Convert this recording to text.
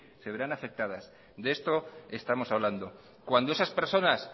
se verán afectadas de esto estamos hablando cuando esas personas